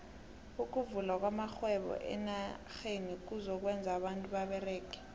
ukuvula kwamaxhhwebo amaneneji kuzo kwenza abantu baberege